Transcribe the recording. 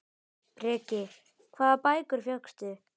Breki: Hvaða bækur fékkstu?